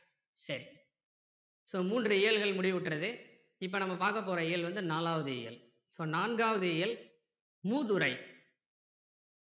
so மூன்று இயல்கள் முடிவுற்றது இப்போ நம்ம பார்க்க போற இயல் வந்து நாலாவது இயல் so நாங்காவது இயல் மூதுரை